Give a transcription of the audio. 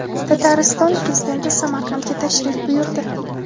Tatariston prezidenti Samarqandga tashrif buyurdi.